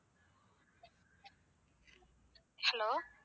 Hello.